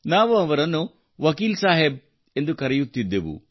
ನಾವು ಅವರನ್ನು ವಕೀಲ್ ಸಾಹೇಬ್ ಎಂದು ಕರೆಯುತ್ತಿದ್ದೆವು